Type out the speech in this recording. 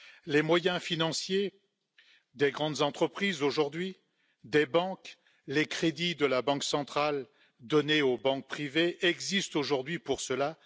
Les moyens financiers des grandes entreprises aujourd'hui, ceux des banques, les crédits de la Banque centrale donnés aux banques privées, existent aujourd'hui pour cela.